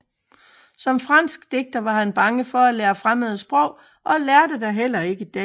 Som fransk digter var han bange for at lære fremmede sprog og lærte da heller ikke dansk